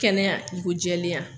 Kɛnɛya i ko jɛlenya